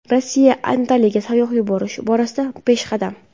Rossiya Antaliyaga sayyoh yuborish borasida peshqadam.